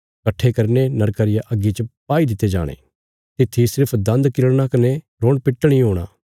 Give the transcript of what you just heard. कट्ठे करीने नरका रिया अग्गी च पाई दित्ते जाणे तित्थी सिर्फ दान्द किरड़ना कने रोणपिट्टण इ हूणा